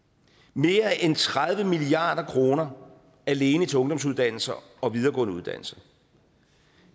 mere end tredive milliard kroner alene til ungdomsuddannelser og videregående uddannelser